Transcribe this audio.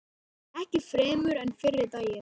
Ekki fremur en fyrri daginn.